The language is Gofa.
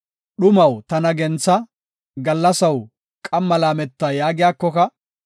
“Dhumaw tana gentha; gallasaw qamma laameta” yaagiyakoka,